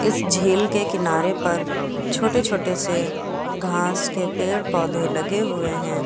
इस झील के किनारे पर छोटे छोटे से घास के पेड़ पौधे लगे हुए हैं।